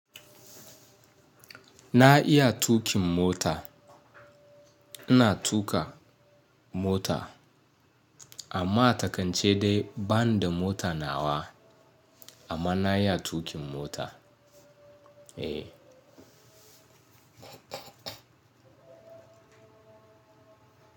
Na iya tuƙin mota. Ina tuƙa mota amma a ta kance dai bani da mota nawa amma na iya tuƙin mota. Eh.